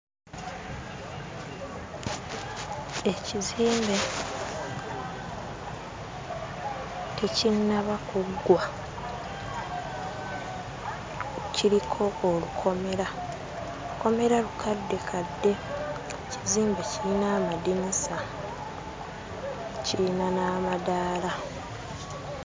Ekizimbe tekinnaba kuggwa. Kiriko olukomera; lukomera lukaddekadde, ekizimbe kirina amadinisa, kirina n'amadaala.